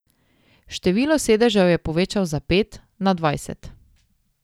Število sedežev je povečal za pet, na dvajset.